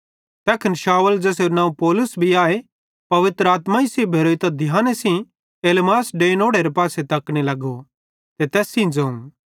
तैखन शाऊल ज़ेसेरू नवं पौलुस भी आए पवित्र आत्माई सेइं भेरोइतां ध्याने सेइं एलीमास डैइंनोड़ेरे पासे तकने लगो ते तैस सेइं ज़ोवं